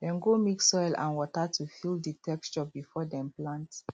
dem go mix soil and water to feel the texture before dem plant